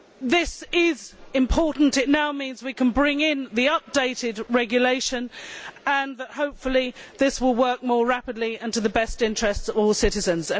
This is important it now means we can bring in the updated regulation and, hopefully, this will work more rapidly and in the best interests of all citizens.